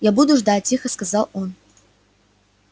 я буду ждать тихо сказал он